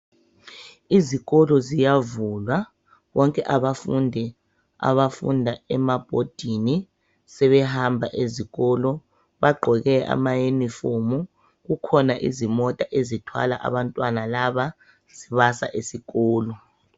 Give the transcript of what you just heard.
Izikolo ziyavulwa bonke abafundi abafunda emabhodini sebehamba ezikolo bagqoke amayunifomu kukhona izimota ezithwala abantwana laba zibasa esikolo.